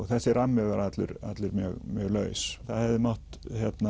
þessi rammi var allur allur mjög mjög laus það hefði mátt